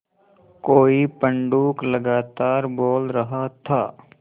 कोई पंडूक लगातार बोल रहा था